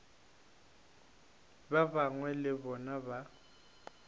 ba bangwe le bona ba